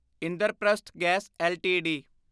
Indraprastha gas LTD